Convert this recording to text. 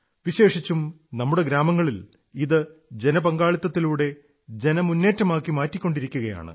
വിശേഷിച്ചും നമ്മുടെ ഗ്രാമങ്ങളിൽ ഇത് ജനപങ്കാളിത്തത്തിലൂടെ ജന മുന്നേറ്റമാക്കി മാറ്റിക്കൊണ്ടിരിക്കയാണ്